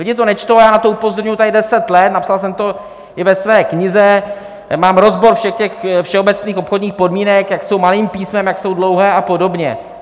Lidi to nečtou a já na to upozorňuji tady deset let, napsal jsem to i ve své knize, mám rozbor všech těch všeobecných obchodních podmínek, jak jsou malým písmem, jak jsou dlouhé a podobně.